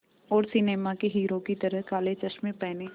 और सिनेमा के हीरो की तरह काले चश्मे पहने